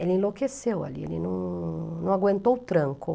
Ele enlouqueceu ali, ele não não aguentou o tranco.